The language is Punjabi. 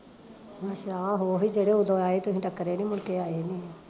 ਅੱਛਾ ਓਹੀ ਜਿਹੜੇ ਓਦਣ ਆਏ, ਤੁਸੀਂ ਟੱਕਰੇ ਨੀ, ਮੁੜਕੇ ਆਏ ਨੀ ਆ